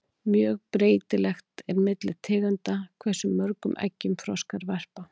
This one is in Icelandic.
mjög breytilegt er milli tegunda hversu mörgum eggjum froskar verpa